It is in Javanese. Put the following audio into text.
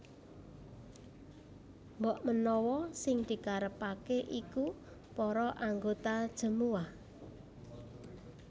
Mbokmenawa sing dikarepaké iku para anggota jemuwah